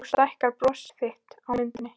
Nú stækkar bros þitt á myndinni.